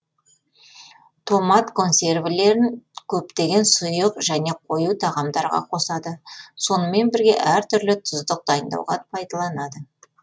томат консервілерін көптеген сұйық және қою тағамдарға қосады сонымен бірге әр түрлі тұздық дайындауға пайдаланады